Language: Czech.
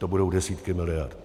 To budou desítky miliard.